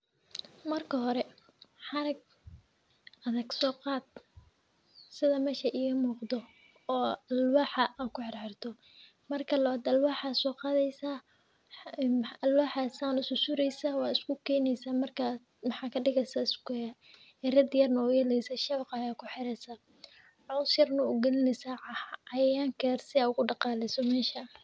Marka hore xarag adhag soqad oo alwaxa aad ku xirxrito marka irid yar yar aya sumeynesa si aa ogu daqaleyso catayankan marka sas waye.